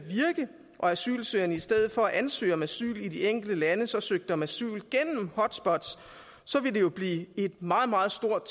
asylsøgerne i stedet for at ansøge om asyl i de enkelte lande så søgte om asyl gennem hotspots ville det jo blive et meget meget stort